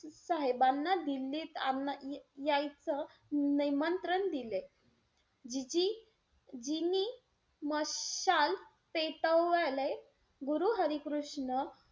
साहेबांना दिल्लीत आ~ यायचं निमंत्रण दिले. जीजी~ जीनी मशाल पेटवायल गुरु हरी कृष्ण,